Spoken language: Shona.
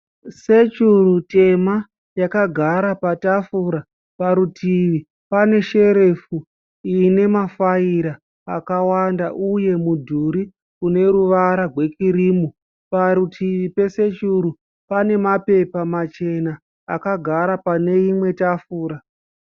Sechuru tema yakagara patafura. Parutivi pane sherefu ine mafayira akawanda uye mudhuri uneruvara gwekirimu. Parutivi pesechuru pane mapapepa machena akagara pane imwe tafura.